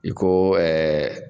I ko ɛɛ